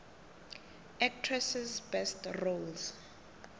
actresses best roles